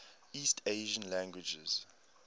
east asian languages